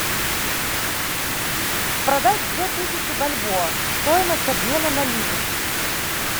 продать две тысячи бальбоа стоимость обмена на ливр